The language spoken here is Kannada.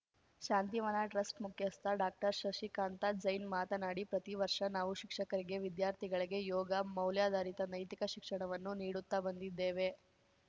ಶಾಂತಿವನ ಟ್ರಸ್ಟ್ ಮುಖ್ಯಸ್ಥ ಡಾಕ್ಟರ್ಶಶಿಕಾಂತ ಜೈನ್‌ ಮಾತನಾಡಿ ಪ್ರತಿವರ್ಷ ನಾವು ಶಿಕ್ಷಕರಿಗೆ ವಿದ್ಯಾರ್ಥಿಗಳಿಗೆ ಯೋಗ ಮೌಲ್ಯಧಾರಿತ ನೈತಿಕ ಶಿಕ್ಷಣವನ್ನು ನೀಡುತ್ತ ಬಂದಿದ್ದೇವೆ